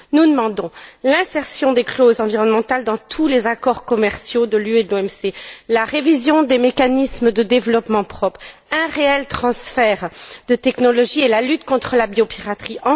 Nous demandons l'insertion de clauses environnementales dans tous les accords commerciaux de l'UE et de l'OMC, la révision des mécanismes de développement propre, un réel transfert de technologies et la lutte contre la biopiraterie.